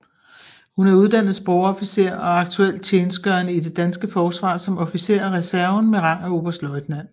Hun er uddannet sprogofficer og aktuelt tjenstgørende i det danske forsvar som officer af reserven med rang af Oberstløjtnant